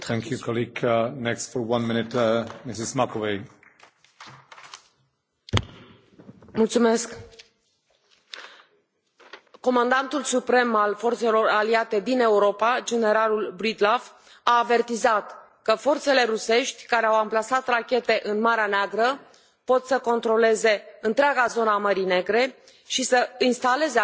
Domnule președinte, comandantul suprem al forțelor aliate din Europa, generalul Breedlove, a avertizat că forțele rusești care au amplasat rachete în Marea Neagră pot să controleze întreaga zonă a Mării Negre și să instaleze arme nucleare în zonă.